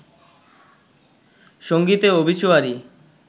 সংগীতে অবিচুয়ারি